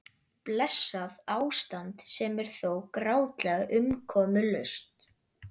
Blessað ástand sem er þó grátlega umkomulaust.